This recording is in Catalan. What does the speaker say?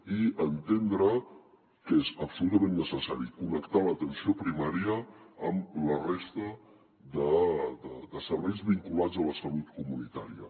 i entendre que és absolutament necessari connectar l’atenció primària amb la resta de serveis vinculats a la salut comunitària